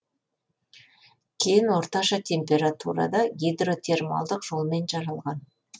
кен орташа температурада гидротермалдық жолмен жаралған